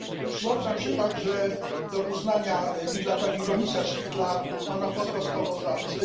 Przyłączam się także do uznania i dla Pani Komisarz, i dla Pana Posła Sprawozdawcy.